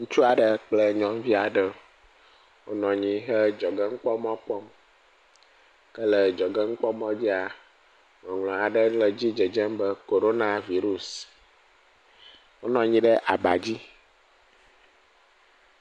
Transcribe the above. Ŋutsu aɖe kple nyɔnuvi aɖe wonɔ anyi he adzɔgenukpɔmɔ kpɔm ke le adzɔgenukpɔmɔadzi ŋɔŋlɔ aɖe le edzi dzedzem be Corona virus wonɔ anyi ɖe abadzi